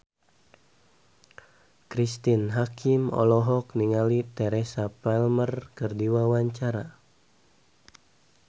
Cristine Hakim olohok ningali Teresa Palmer keur diwawancara